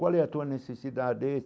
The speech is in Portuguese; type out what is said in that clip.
Qual é a tua necessidade?